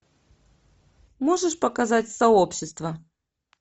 можешь показать сообщество